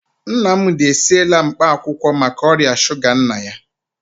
Nnamdi esiela mkpaakwụkwọ maka ọrịa shuga nna ya.